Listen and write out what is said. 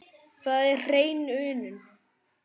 Það er hrein unun.